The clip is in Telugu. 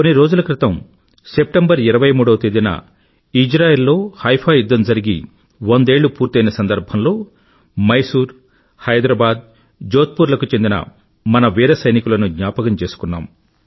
కొన్ని రోజుల క్రితం సెప్టెంబరు ఇరవై మూడవ తేదీన ఇజ్రాయిల్ లో హైఫా యుధ్ధం జరిగి వందేళ్ళు పూర్తయిన సందర్భంలో మైసూర్ హైదరాబాద్ జోధ్పూర్ లకు చెందిన ఈటెగాళ్ళైన మన వీర సైనికులను జ్ఞాపకం చేసుకున్నాం